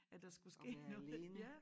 At der skulle ske noget ja